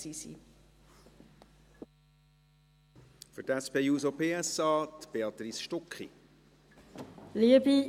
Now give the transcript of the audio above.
Für die SP-JUSO-PSA hat Béatrice Stucki das Wort.